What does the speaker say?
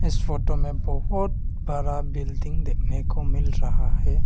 इस फोटो में बहुत बड़ा बिल्डिंग देखने को मिल रहा है।